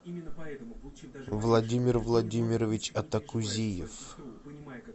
владимир владимирович атакузиев